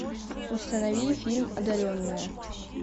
установи фильм одаренная